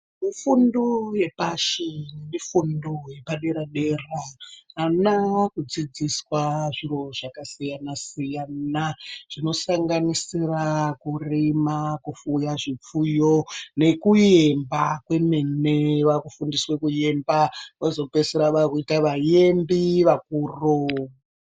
Fundo yepashi nefundo yepadera dera ana akudzidziswa zviro zvakasiyana siyana zvinosanganisira kurima, kupfuya zvipfuyo nekuemba kwemene vakufundiswa kuemba vozopedzisira vakuita vaembi vakuru.